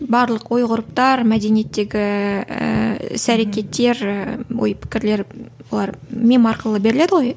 барлық ой ғұрыптар мәдениеттегі ііі іс әрекеттер ііі ой пікірлер олар мем арқылы беріледі ғой